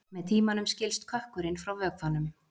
Með tímanum skilst kökkurinn frá vökvanum.